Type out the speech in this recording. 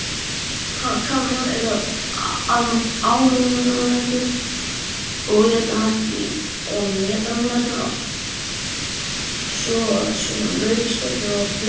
Kameljón eru almennt alætur og éta næstum allt, svo sem lauf, skordýr, ávexti og fleira.